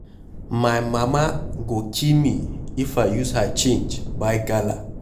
My mama go kill me if I use her change buy gala.